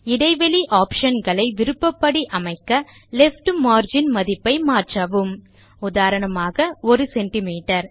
இடைவெளி ஆப்ஷன் களை விருப்பப்படி அமைக்க லெஃப்ட் மார்ஜின் மதிப்பை மாற்றவும் உதாரணமாக 100சிஎம்